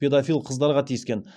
педофил қыздарға тиіскен